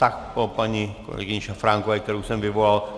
Tak po paní kolegyni Šafránkové, kterou jsem vyvolal.